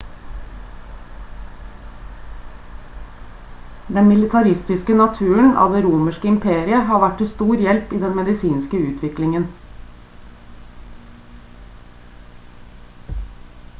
den militaristiske naturen av det romerske imperiet har vært til stor hjelp i den medisinske utviklingen